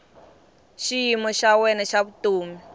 xiyimo xa wena xa vutomi